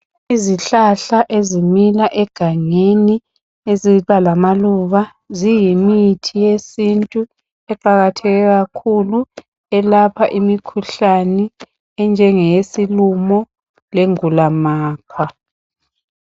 Izihlahla ezimila egangeni, eziba lamaluba. Ziyi mithi yesintu eqakatheke kakhulu, elapha imikhuhlane enje ngeyesilumo le gulamakwa.